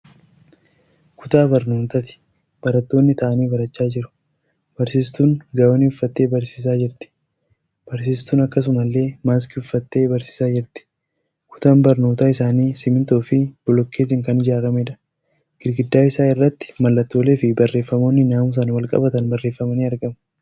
Kutaa barnootaati. Barattoonni taa'anii barachaa jiru. Barsiistuun gaawonii uffattee barsiisaa jirti. Barsiistuun akkasumallee maaskii uffattee barsiisaa jirti. Kutaan barnootaa isaanii simintoo fi bilokeetiin kan ijaaramedha. Gidaara isaa irratti mallattolee fi barreefamoonni namusaan walqabatan barreefamanii argamu.